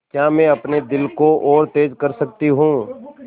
क्या मैं अपने दिल को और तेज़ कर सकती हूँ